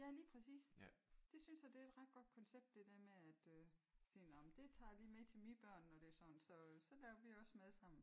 Ja lige præcis det synes jeg det er et ret godt koncept det der med at øh sige nå men det tager a lige med til mine børn når det er sådan så så laver vi også mad sammen